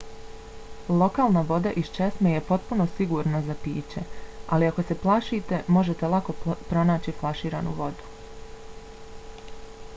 lokalna voda iz česme je potpuno sigurna za piće ali ako se plašite možete lako pronaći flaširanu vodu